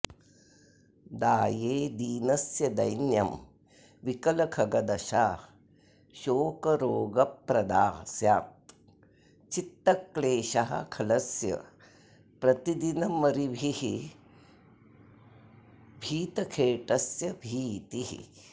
दाये दीनस्य दैन्यं विकलखगदशा शोकरोगप्रदा स्यात् चित्तक्लेशः खलस्य प्रतिदिनमरिभिर्भीतखेटस्य भीतिः